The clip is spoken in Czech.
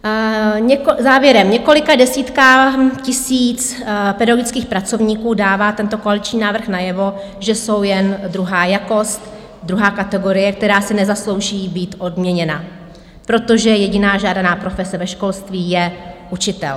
Závěrem: několika desítkám tisíc pedagogických pracovníků dává tento koaliční návrh najevo, že jsou jen druhá jakost, druhá kategorie, která si nezaslouží být odměněna, protože jediná žádaná profese ve školství je učitel.